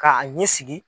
K'a ɲɛ sigi